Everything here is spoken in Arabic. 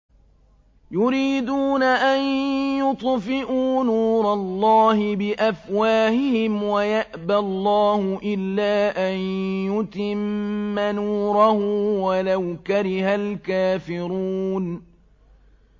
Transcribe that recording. يُرِيدُونَ أَن يُطْفِئُوا نُورَ اللَّهِ بِأَفْوَاهِهِمْ وَيَأْبَى اللَّهُ إِلَّا أَن يُتِمَّ نُورَهُ وَلَوْ كَرِهَ الْكَافِرُونَ